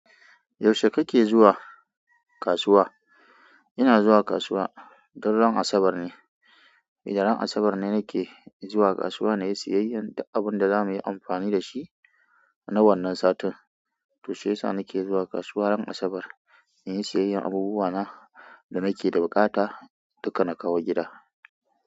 Yaushe kake zuwa kasuwa? Ina zuwa kasuwa, du ran asabar ne ida ran asabar ne nake zuwa kasuwa na yi siyayyar du abin da za muyi amfani da shi na wannan satin. To sai sa nake zuwa kasuwa ran asabar, in yi siyayyar abubuwa na da nake da buƙata duka na kawo gida.